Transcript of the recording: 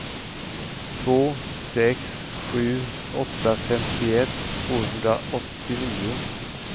två sex sju åtta femtioett tvåhundraåttionio